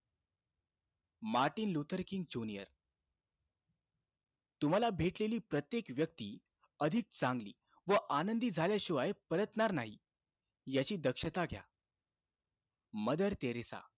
Martin Luther King junior तुम्हाला भेटलेली प्रत्येक व्यक्ती, अधिक चांगली व आनंदी झाल्याशिवाय परतणार नाही, याची दक्षता घ्या. Mother Teresa,